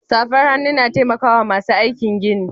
Safar hannu na taimakawa masu aikin gini.